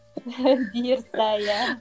бұйырса иә